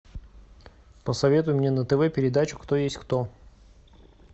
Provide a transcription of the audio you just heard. посоветуй мне на тв передачу кто есть кто